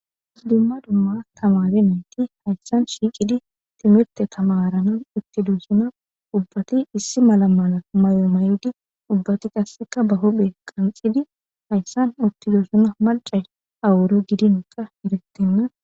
Issi dumma dumma tamare nayti hayssan shiiqidi timirte tamaranas uttidoosona. Ubbati issi mala mala mayo mayidi ubbati qasseka ba huphe qanxidi hayssan uttidoosona .Macay awuro gidinka eretenna